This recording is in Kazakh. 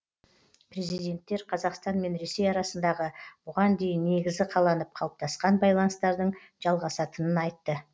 президенттер қазақстан мен ресей арасындағы бұған дейін негізі қаланып қалыптасқан байланыстардың жалғасатынын айтты